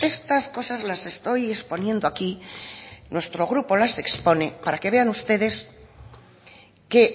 estas cosas las estoy exponiendo aquí nuestro grupo las exponen para que vean ustedes que